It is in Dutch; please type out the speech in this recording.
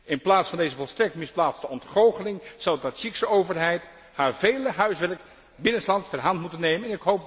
In plaats van deze volstrekt misplaatste ontgoocheling, zou de Tadzjiekse overheid haar vele huiswerk binnenslands ter hand moeten nemen.